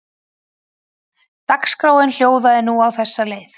Dagskráin hljóðaði nú á þessa leið